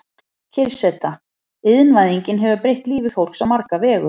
Kyrrseta Iðnvæðingin hefur breytt lífi fólks á marga vegu.